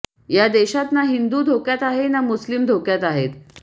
या देशात ना हिंदू धोक्यात आहे ना मुस्लिम धोक्यात आहेत